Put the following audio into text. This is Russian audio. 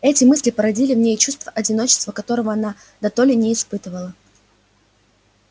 эти мысли породили в ней чувство одиночества которого она дотоле не испытывала